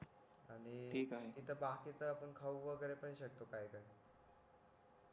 आणि तिथे बाकीचा आपण खाऊ वगैरे शकतो काय काय